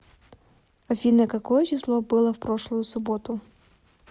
афина какое число было в прошлую суботу